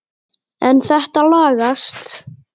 En þetta lagast.